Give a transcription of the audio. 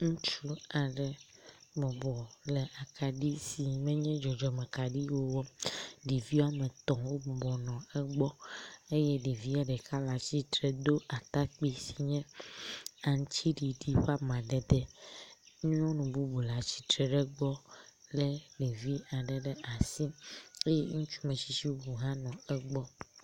Ŋutsu aɖe bɔbɔ le akaɖi si menye dzɔdzɔme kaɖi o wɔm. Ɖevi woame etɔ̃ wo bɔbɔnɔ egbɔ eye ɖevia ɖeka le atsitre do atakpui si nye aŋutiɖiɖi ƒe amadede. Nyɔnu bubu le atsitre le egbɔ lé ɖevia aɖe ɖe asi eye ŋutsu metsitsi bubu hã nɔ egbɔ.